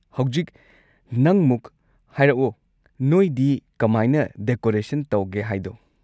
ꯍꯧꯖꯤꯛ, ꯅꯪꯃꯨꯛ ꯍꯥꯏꯔꯛꯑꯣ ꯅꯣꯏꯗꯤ ꯀꯃꯥꯏꯅ ꯗꯦꯀꯣꯔꯦꯁꯟ ꯇꯧꯒꯦ ꯍꯥꯏꯗꯣ꯫